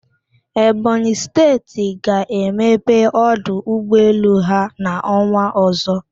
Ebonyị Steeti ga-emepe ọdụ ụgbọelu ha n'ọnwạ ọzọ.